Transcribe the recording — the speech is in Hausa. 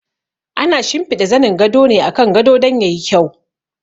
Ana shimfiɗa zanin gado ne akan gado don ya yi kyau.